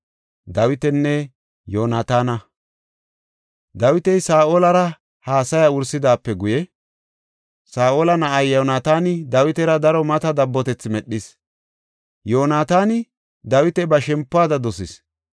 Dawiti Saa7olara haasaya wursidaape guye, Saa7ola na7ay Yoonataani Dawitara daro mata dabbotethi medhis; Yoonataani Dawita ba shempuwada dosis.